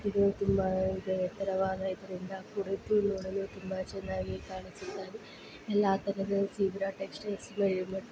ಇದು ತುಂಬ ಎತ್ತರವಾದ ಇದರಿಂದ ಕೂಡಿದ್ದು ನೋಡಲು ತುಂಬ ಚೆನ್ನಾಗಿ ಕಾಣಿಸುತ್ತಾಯಿದೆ ಎಲ್ಲ ತರದ ಝೆಎಬ ಟೆಕ್ಸ್ಟೈಲ್ಸ್ ಗಳಿವೆ .